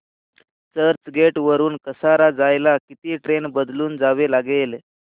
चर्चगेट वरून कसारा जायला किती ट्रेन बदलून जावे लागेल